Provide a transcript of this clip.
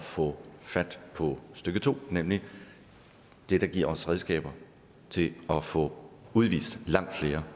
få fat på stykke to nemlig det der giver os redskaber til at få udvist langt flere